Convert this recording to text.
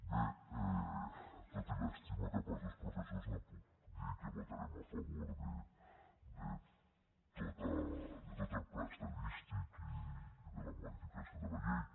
bé tot i l’estima cap als dos professors no puc dir que votarem a favor de tot el pla estadístic i de la modificació de la llei